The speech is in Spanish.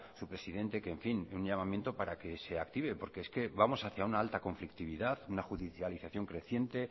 su presidente un llamamiento para que se active porque es vamos hacia una alta conflictividad una judicialización creciente